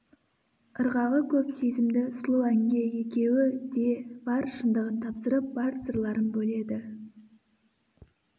ырғағы көп сезімді сұлу әнге екеуі де бар шындығын тапсырып бар сырларын бөледі